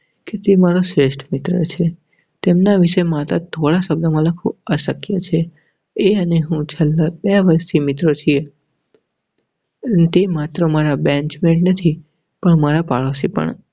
તે મારો શ્રેષ્ઠ મિત્ર છે. તેમના વિષેમાં થોડા શબ્દોમાં લખવું અશક્ય છે. એ અને હું છેલ્લા બે વરસો થી મિત્ર છીએ. તે માત્ર મારો benchmate નથી પણ મારા પાડોશી પણ